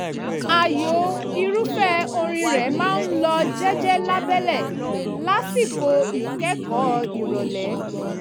ààyò irúfẹ́ orin rẹ̀ máa ń lọ jẹ́jẹ́ lábẹ́lẹ̀ lásìkò ìkẹ́kọ̀ọ́ ìrọ̀lẹ́